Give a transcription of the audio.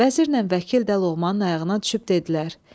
Vəzirlə vəkil də Loğmanın ayağına düşüb dedilər: